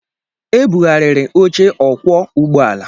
E bughariri oche okwọọ ụgbọala.